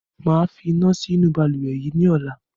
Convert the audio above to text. Máa fi iná sí inú Balùwẹ́ yìí ni ọ̀la